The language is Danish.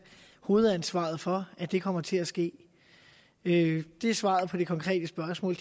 hovedansvaret for at det kommer til at ske det er svaret på det konkrete spørgsmål